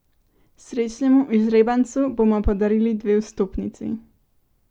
Srečnemu izžrebancu bomo podarili dve vstopnici!